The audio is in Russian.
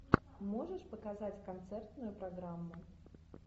можешь показать концертную программу